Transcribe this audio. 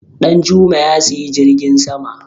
Danjuma Ya siyi jirgin sama.